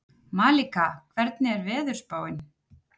Malika, hvernig er veðurspáin?